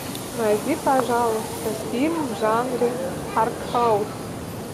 найди пожалуйста фильм в жанре артхаус